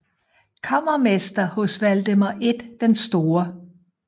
Kammermester hos Valdemar I den Store